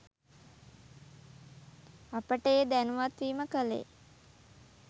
අපට ඒ දැනුවත් වීම කළේ